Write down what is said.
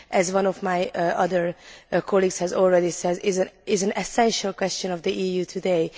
As one of my colleagues has already said, this is an essential question for the EU today.